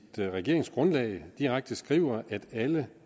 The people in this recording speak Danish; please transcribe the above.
regeringsgrundlag direkte skriver at alle